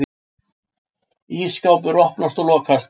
Ísskápur opnast og lokast.